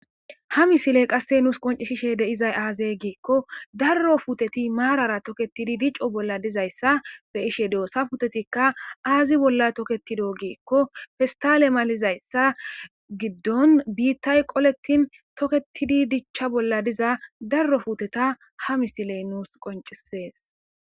Ha misiley qasse nuus qoncishishe deizay aazey giekko darro futeti maarara toketidi dico bolla dizayssa be ishe doosa putetikka aazi bolla toketido giekko festale malizayssa giddon biittay qoletin toketidi dichcha bolla diza darro futeta ha misiley nuus qoncisees.